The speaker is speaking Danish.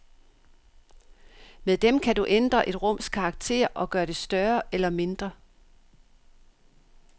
Med dem kan du ændre et rums karakter og gøre det større eller mindre.